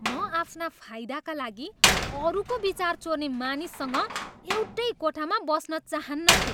म आफ्ना फाइदाका लागि अरूको विचार चोर्ने मानिससँग एउटै कोठामा बस्न चाहन्नथेँ।